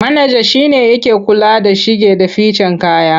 Manaja shi ne yake kula da shige da ficen kaya.